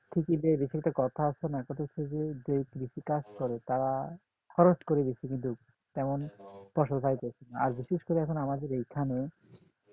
কৃষকদের জন্য একটা কথা আছে না কথা হচ্ছে যে কৃষি কাজ করে তারা খরচ করে বেশি কিন্তু তেমন ফসল পাইতেছেনা আর বিশেষ করে এখন আমাদের এখানে